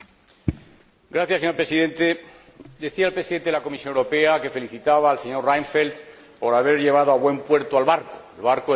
Señor Presidente, decía el Presidente de la Comisión Europea que felicitaba al señor Reinfeldt por haber llevado a buen puerto el barco el barco del Tratado de Lisboa.